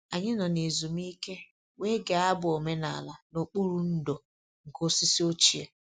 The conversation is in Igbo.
Anyị nọ na ezumike wee gee abụ omenala n'okpuru ndò nke osisi ochie